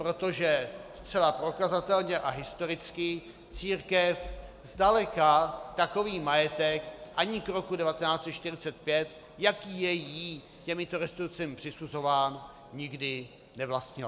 Protože zcela prokazatelně a historicky církev zdaleka takový majetek ani k roku 1945, jaký je jí těmito restitucemi přisuzován, nikdy nevlastnila.